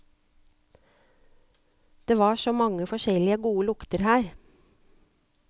Det var så mange forskjellige gode lukter her.